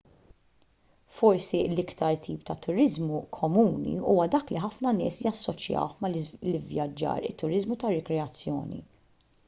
forsi l-iktar tip ta' turiżmu komuni huwa dak li ħafna nies jassoċjawh mal-ivvjaġġar it-turiżmu ta' rikreazzjoni